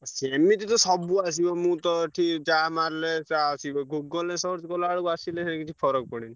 ସେମିତି ତ ସବୁ ଆସିବ ମୁଁ ତ ଏଠି ଯାହା ମାରିଲେ ତା ଆସିବ। Google ରେ search କଲାବେଳକୁ ଆସିଲେ କିଛି ଫରକ ପଡେନି।